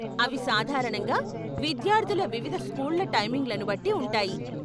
అవి సాధారణంగా విద్యార్ధుల వివిధ స్కూళ్ళ టైమింగ్లను బట్టి ఉంటాయి.